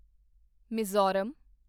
Mizoram